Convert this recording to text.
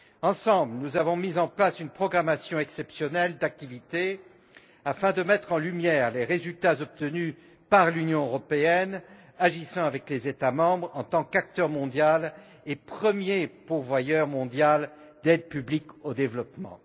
Ensemble, nous avons mis en place un programme d'activités exceptionnel afin de mettre en lumière les résultats obtenus par l'Union européenne, agissant avec les États membres, en tant qu'acteur mondial et premier pourvoyeur mondial d'aide publique au développement.